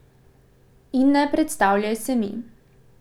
In ne predstavljaj se mi.